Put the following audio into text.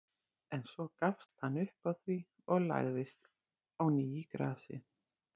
En svo gafst hann upp á því og lagðist á ný í grasið.